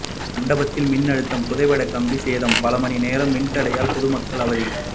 மண்டபத்தில் மின்அழுத்த புதைவடக் கம்பி சேதம்பல மணி நேர மின்தடையால் பொது மக்கள் அவதி